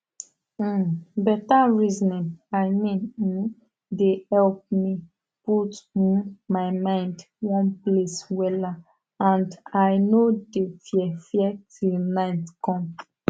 um beta resonin i mean um de help me put um my mind one place wella and i nor de fear fear till night com